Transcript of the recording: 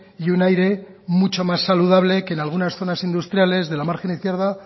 y un aire mucho más saludable que en algunas zonas industriales de la margen izquierda